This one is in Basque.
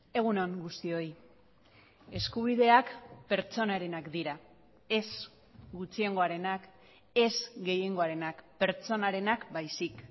egun on guztioi eskubideak pertsonarenak dira ez gutxiengoarenak ez gehiengoarenak pertsonarenak baizik